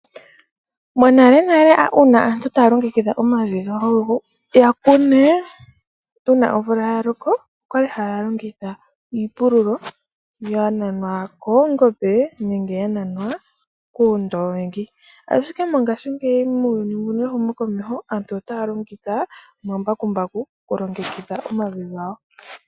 Monalenale uuna aantu taalongekidha omavi gawo yakunee uuna omvula yaloko, okwali haalongitha iipululo yananwa koongombe nenge yananwa kuundoongi. Ashike mongashingeyi muuyuni wehumo komeho, aantu otaalongitha omambakumbaku kulongekidha omavi gawo.